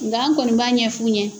Nka an kɔni b'a ɲɛ f'u ɲɛ.